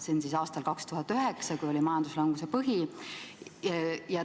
See on siis aasta 2009, kui oli majanduslanguse põhi.